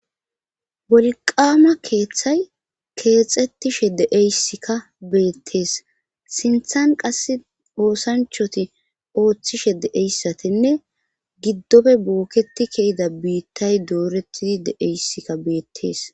wolqaama keeththay keexettishe deeyssikka beettees sinthan qas oosanchoti ooththishe deeyssatinne giddofe bookketi keyida biittay dooretidi deeyssikka beettees